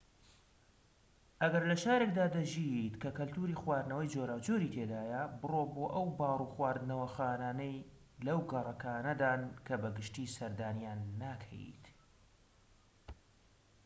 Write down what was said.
ئەگەر لە شارێكدا دەژیت کە کەلتوری خواردنەوەی جۆراوجۆری تێدایە بڕۆ بۆ ئەو باڕ و خواردنەوەخانانەی لەو گەڕەکانەدان کە بە گشتیی سەردانیان ناکەیت